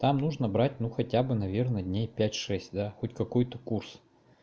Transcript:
там нужно брать ну хотя бы наверное дней пять шесть да хоть какую-то курс